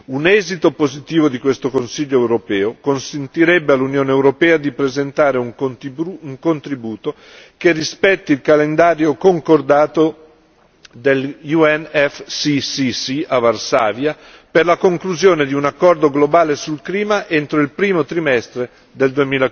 Un esito positivo di questo Consiglio europeo consentirebbe all'Unione europea di presentare un contributo che rispetti il calendario concordato del UNEFCCC a Varsavia per la conclusione di un accordo globale sul clima entro il primo trimestre del